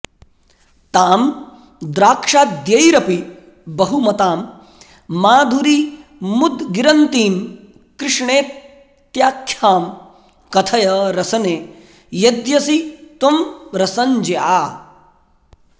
तां द्राक्षाद्यैरपि बहुमतां माधुरीमुद्गिरन्तीं कृष्णेत्याख्यां कथय रसने यद्यसि त्वं रसंज्ञा